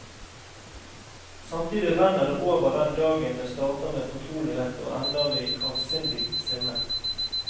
Samtidig renner det over den dagen det starter med fortrolighet og ender i avsindig sinne.